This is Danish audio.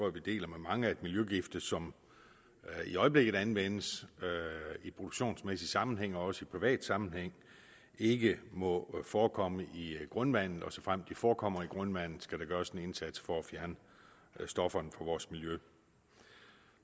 at vi deler med mange at miljøgifte som i øjeblikket anvendes i produktionsmæssig sammenhæng og også i privat sammenhæng ikke må forekomme i grundvandet og såfremt de forekommer i grundvandet skal der gøres en indsats for at fjerne stofferne fra vores miljø